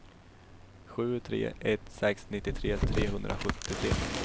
sju tre ett sex nittiotre trehundrasjuttiotre